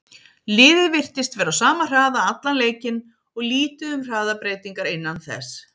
Liðið virtist vera á sama hraða allan leikinn og lítið um hraðabreytingar innan þess.